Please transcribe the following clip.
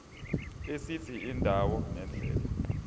esithi indawo nendlela